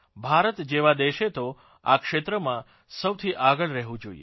ભારત જેવા દેશે તો આ ક્ષેત્રમાં સૌથી આગળ રહેવું જોઇએ